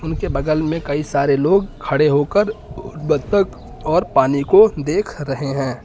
इनके बगल में कई सारे लोग खड़े होकर बत्तख और पानी को देख रहे हैं।